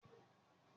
Akin yóò di kápẹ́ńtà.